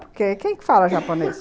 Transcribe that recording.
Porque quem que fala japonês?